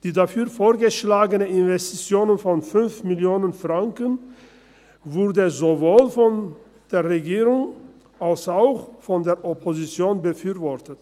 Die dafür vorgeschlagenen Investitionen von 5 Mio. Franken wurden sowohl von der Regierung als auch von der Opposition befürwortet.